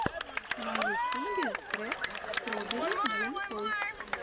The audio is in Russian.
на ютюбе трек строберри джэм тойс